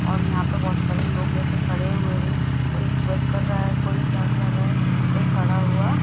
और यहां पे बहोत सारे लोग लेकर खड़े हुए हैं कोई स्पर्श कर रहा है कोई क्या कर रहा है कोई खड़ा हुआ --